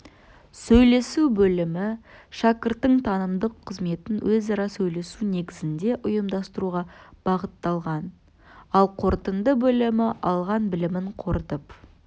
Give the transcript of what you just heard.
сөйлесу бөлімі шәкірттің танымдық қызметін өзара сөйлесу негізінде ұйымдастыруға бағытталған ал қорытынды бөлімі алған білімін қорытып